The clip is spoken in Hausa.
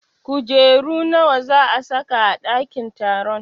Kujeru nawa za a sa ka a ɗakin taron?